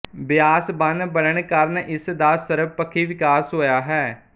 ਬਿਆਸ ਬੰਨ੍ਹ ਬਣਨ ਕਾਰਨ ਇਸ ਦਾ ਸਰਬਪੱਖੀ ਵਿਕਾਸ ਹੋਇਆ ਹੈ